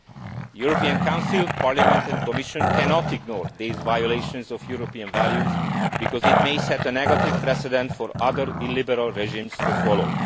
The European Council, Parliament and Commission cannot ignore these violations of European values, because this may set a negative precedent for other illiberal regimes to follow.